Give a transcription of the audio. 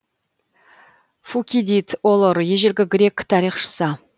фукидид олор ежелгі грек тарихшысы